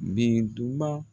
Birintuban.